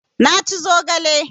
Na ci zogale